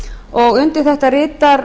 og undir álitið rita